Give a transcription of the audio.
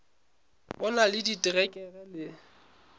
o na le diterekere le